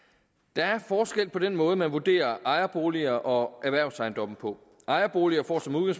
der er forskel på den måde man vurderer ejerboliger og erhvervsejendomme på ejerboliger